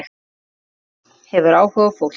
Fólk hefur áhuga á fólki.